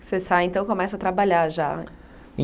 Você sai então e começa a trabalhar já.